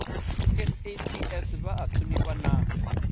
saps vha a thonifha na